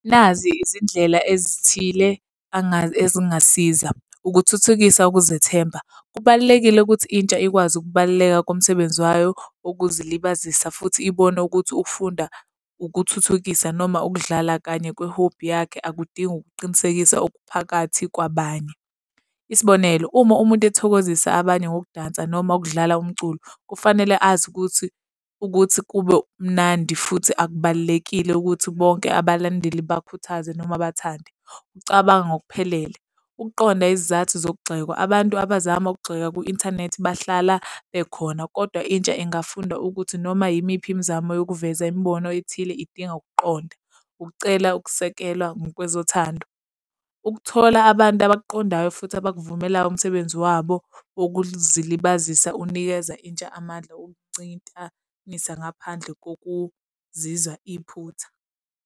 Nazi izindlela ezithile ezingasiza. Ukuthuthukisa ukuzethemba. Kubalulekile ukuthi intsha ikwazi ukubaluleka komsebenzi wayo wokuzilibazisa futhi ibone ukuthi ukufunda, ukuthuthukisa noma ukudlala kanye kwehobhi yakhe akudingi ukuqinisekisa okuphakathi kwabanye. Isibonelo, uma umuntu ethokozisa abanye ngokudansa noma ukudlala umculo, kufanele azi ukuthi, ukuthi kube mnandi futhi akubalulekile ukuthi bonke abalandeli bakhuthaze noma bathande. Ukucabanga ngokuphelele. Ukuqonda izizathu zokugxekwa, abantu abazama ukugxeka kwi-inthanethi bahlala bekhona, kodwa intsha ingafunda ukuthi noma yimiphi imizamo yokuveza imibono ethile idinga ukuqonda. Ukucela ukusekelwa ngokwezothando. Ukuthola abantu abakuqondayo futhi abakuvumelayo umsebenzi wabo wokuzilibazisa unikeza intsha amandla okuncintanisa ngaphandle kokuzizwa iphutha.